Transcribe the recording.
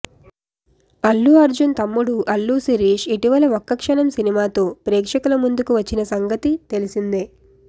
అల్లు అర్జున్ తమ్ముడు అల్లు శిరీష్ ఇటివల ఒక్క క్షణం సినిమాతో ప్రేక్షకుల ముందుకు వచ్చిన సంగతి తెలిసిందే